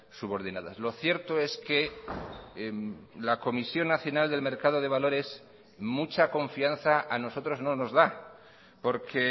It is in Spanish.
subordinadas lo cierto es que la comisión nacional del mercado de valores mucha confianza a nosotros no nos da porque